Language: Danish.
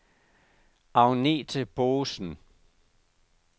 Agnethe Boesen